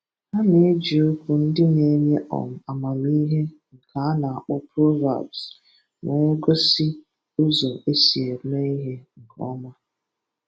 Ha na-eji okwu ndi na-enye um amamihe, nke a na-akpọ "proverbs", nwee gosi ụzọ esi eme ihe nke ọma